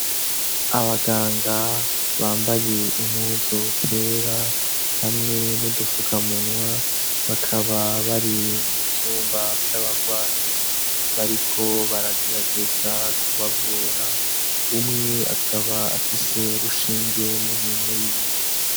Abaganga bambaye impuzu zera hamwe n'udufukamunwa, bakaba bari mu vyumba vy'abagwayi, bariko baragerageza kubavura, umwe akaba afise urushinge mu minwe yiwe.